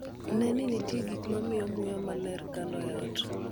Ne ni nitie gik ma miyo muya mler kalo e ot.